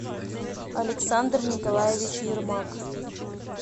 александр николаевич ермак